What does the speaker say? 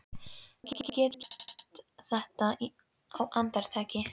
Þú getur gert þetta á andartaki.